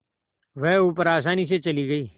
वह ऊपर आसानी से चली गई